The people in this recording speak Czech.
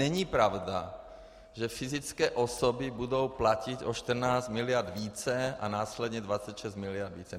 Není pravda, že fyzické osoby budou platit o 14 miliard více a následně 26 miliard více.